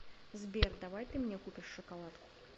сбер давай ты мне купишь шоколадку